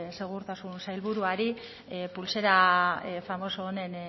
segurtasun sailburuari pultsera famoso honen